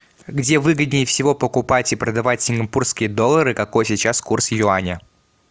где выгоднее всего покупать и продавать сингапурские доллары какой сейчас курс юаня